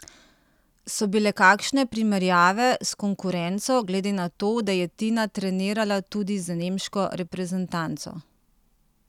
So bile kakšne primerjave s konkurenco, glede na to, da je Tina trenirala tudi z nemško reprezantanco?